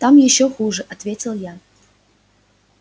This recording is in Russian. там ещё хуже ответил я